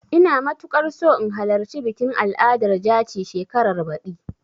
Ina matuƙar so in halarci bikin al'adar jaci shekarar baɗi.